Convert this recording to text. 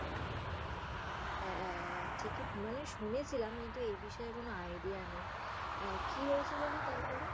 হ্যা ঠিক মানে শুনেছিলাম কিন্তু এই বিষয়ে কোন idea নেই। আহ কি হয়েছিলো গো তারপরে?